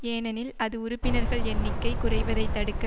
ஏனெனில் அது உறுப்பினர்கள் எண்ணிக்கை குறைவதைத் தடுக்க